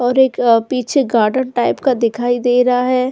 और एक पीछे गार्डन टाइप का दिखाई दे रहा है।